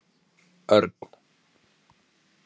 Örn